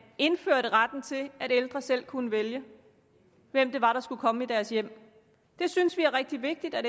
indførte retten til at ældre selv skulle kunne vælge hvem det var der skulle komme i deres hjem vi synes det er rigtig vigtigt at